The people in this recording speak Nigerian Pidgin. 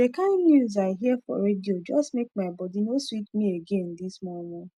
dey kain news i hear for radio jus make my bodi nor sweet mi again this momo